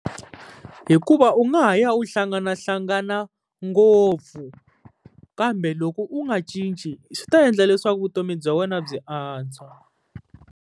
Hikuva u nga ha ya u hlanganahlangana ngopfu, kambe loko u nga cinci swi ta endla leswaku vutomi bya wena byi antswa.